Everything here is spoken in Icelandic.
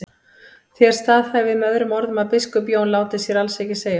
Þér staðhæfið með öðrum orðum að biskup Jón láti sér alls ekki segjast.